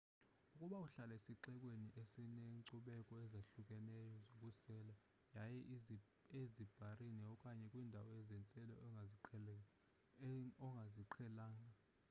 ukuba uhlala esixekweni esineenkcubeko ezahlukeneyo zokusela yiya ezibharini okanye kwiindawo zentselo ongaziqhelanga